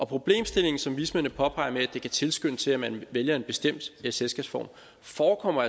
problemstillingen som vismændene påpeger med at det kan tilskynde til at man vælger en bestemt selskabsform forekommer